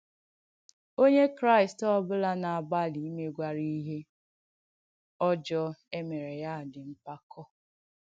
Onyè Kràị̀st ọ̀ bùlà na-agbàlì ìmègwàrà ìhé ọ̀jọọ è mèrè ya dị́ mpàkọ̀.